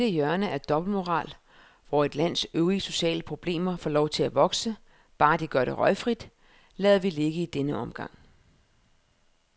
Dette hjørne af dobbeltmoral, hvor et lands øvrige sociale problemer får lov at vokse, bare de gør det røgfrit, lader vi ligge i denne omgang.